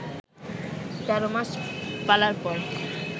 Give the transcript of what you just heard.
১৩ মাস পালার পর